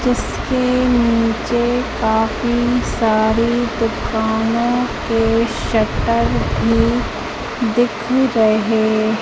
जिसके नीचे काफी सारी दुकानों के शटर भी दिख रहे--